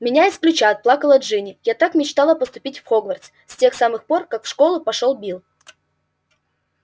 меня исключат плакала джинни я так мечтала поступить в хогвартс с тех самых пор как в школу пошёл билл